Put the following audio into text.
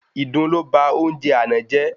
Ìdun lo ba oúnjẹ àná jẹ